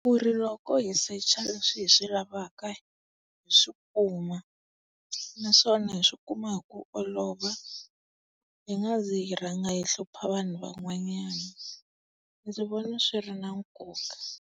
Kuri loko hi secha leswi hi swi lavaka hi swi kuma naswona hi swi ikuma hi ku olova, hi nga zi hi rhanga hi hlupha vanhu van'wanyana. Ndzi vona swi ri na nkoka.